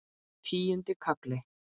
Tíundi kafli